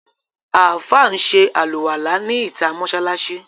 Àfáà ń ṣe àlùwàlá ní ìtà mọ́sáláṣí.